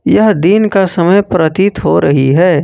यह दिन का समय प्रतीत हो रही है।